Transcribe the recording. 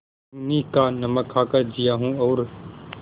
मैं उन्हीं का नमक खाकर जिया हूँ और